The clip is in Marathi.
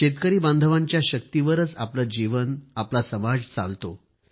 शेतकरी बांधवांच्या शक्तीवरच आपले जीवन आपला समाज चालतो